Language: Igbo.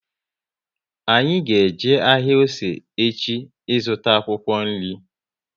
Anyị ga eje ahịa Ose echi ị zụta akwụkwọ nri